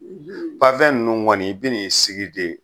panfɛn nunnu kɔni i bɛn'i sigi de